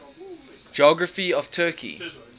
geography of turkey